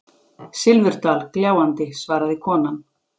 Silfurdal gljáandi, svaraði konan.